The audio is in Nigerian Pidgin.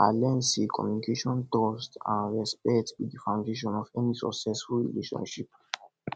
i learn say communication trust and respect be di foundation of any successful relationship